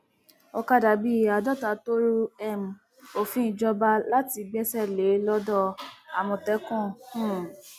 ọkadà bíi àádọta tó rú um òfin ìjọba la ti gbẹsẹ lé lodò àmọtẹkùn um